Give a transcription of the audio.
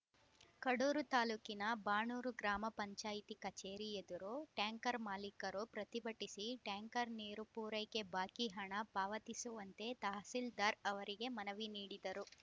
ಕಡೂರು ತಾಲೂಕಿನ ಬಾಣೂರು ಗ್ರಾಮ ಪಂಚಾಯಿತಿ ಕಚೇರಿ ಎದುರು ಟ್ಯಾಂಕರ್‌ ಮಾಲೀಕರು ಪ್ರತಿಭಟಿಸಿ ಟ್ಯಾಂಕರ್‌ ನೀರು ಪೂರೈಕೆ ಬಾಕಿ ಹಣ ಪಾವತಿಸುವಂತೆ ತಹಸೀಲ್ದಾರ್‌ ಅವರಿಗೆ ಮನವಿ ನೀಡಿದರು